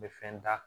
N bɛ fɛn da